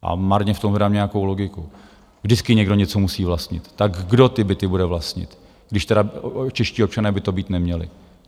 A marně v tom hledám nějakou logiku, vždycky někdo něco musí vlastnit, tak kdo ty byty bude vlastnit, když tedy čeští občané by to být neměli.